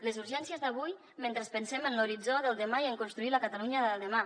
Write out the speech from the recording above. les urgències d’avui mentre pensem en l’horitzó del demà i en construir la catalunya de demà